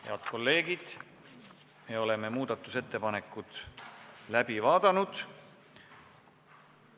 Head kolleegid, me oleme muudatusettepanekud läbi vaadanud.